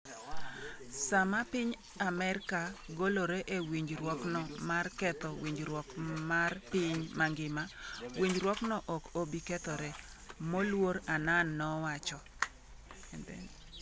saa ma piny Amerka golore e winjuokno ma ketho winjruok mar piny mangima, winjruokno ok obi kethore,” moluor Annan nowacho.